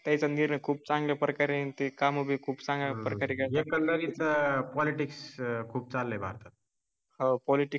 Politics खूप चांगल्या प्रकारे येते. काम खूप सागा प्रकारच्या करीता एकढरी पॉलिटिक्स खूप झाले